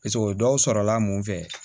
Paseke o ye dɔw sɔrɔla mun fɛ